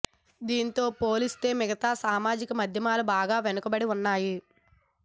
దీంతో పోలిస్తే మిగతా సామాజిక మాధ్యమాలు బాగా వెనుకబడి ఉన్నాయి